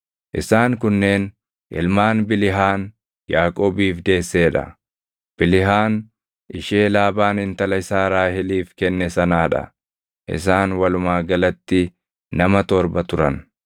Isaan kunneen ilmaan Bilihaan Yaaqoobiif deessee dha; Bilihaan ishee Laabaan intala isaa Raaheliif kenne sanaa dha; isaan walumaa galatti nama torba turan.